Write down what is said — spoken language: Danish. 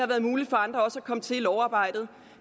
været muligt for andre at komme til i lovarbejdet